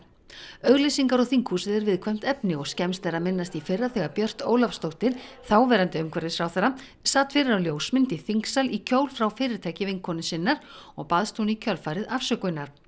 auglýsingar og þinghúsið er viðkvæmt efni og er skemmst að minnast í fyrra þegar Björt Ólafsdóttir þáverandi umhverfisráðherra sat fyrir á ljósmynd í þingsal í kjól frá fyrirtæki vinkonu sinnar og baðst hún í kjölfarið afsökunar